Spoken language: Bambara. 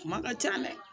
Kuma ka ca dɛ